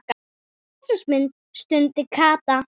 Jesús minn stundi Kata.